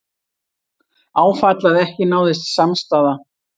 Áfall að ekki náðist samstaða